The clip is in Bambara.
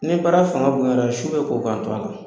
Ni baara fanga bonyana su bɛ ko k'an to a la.